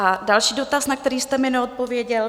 A další dotaz, na který jste mi neodpověděl.